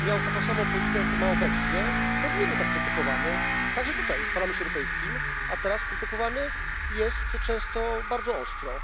miał taką samą politykę, jaką ma obecnie, i wtedy nie był tak krytykowany, także tutaj, w Parlamencie Europejskim, a teraz krytykowany jest często bardzo ostro.